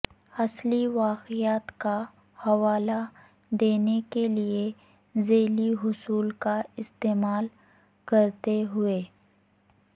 اصلی واقعات کا حوالہ دینے کے لئے ذیلی حصول کا استعمال کرتے ہوئے